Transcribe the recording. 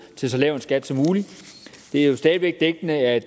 til så lav en skat som mulig det er jo stadig væk dækkende at